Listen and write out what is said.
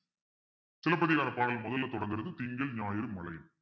சிலப்பதிகார பாடல் முதல்ல தொடங்குறது திங்கள் ஞாயிறு மழை